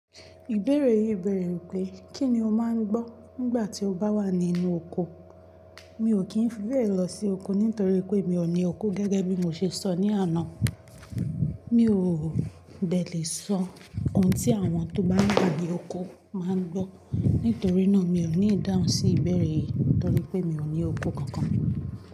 Ìbéèrè yìí bẹ̀rẹ̀ wípé kí ni o máa ń gbọ́ nígbà tí o bá wà nínú ọkọ̀? Mi ò kí ń fi bẹ́ẹ̀ lọ sí oko nítorí pé mi ò ní oko gẹ́gẹ́ bí mo ṣe sọ ní àná. Mi ò dẹ̀ lè sọ ohun tí àwọn tó bá wà ní oko máa ń gbọ́. Nítorí náà, mi ò ní ìdáhùn sí ìbéèrè yìí torí pé mi ò ní oko kankan.